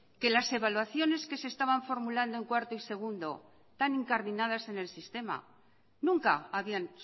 que las evaluaciones que se estaban formulando en cuarto y segundo tan incardinadas en el sistema nunca habían